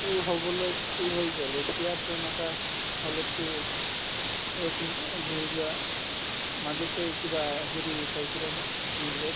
তো হ'বলৈ to হৈ গ'ল এতিয়া তেনেকুৱা হ'লেতো এক এই ধৰিলোৱা অ এই মাজতে কিবা হেৰি চাইছিলা নে news ত